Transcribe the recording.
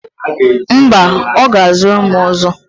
Mba, ọ ga-azụ rịmu ọzọ.